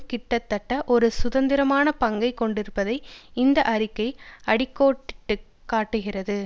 கிட்டதட்ட ஒரு சுதந்திரமான பங்கை கொண்டிருப்பதை இந்த அறிக்கை அடி கோடிட்டு காட்டுகிறது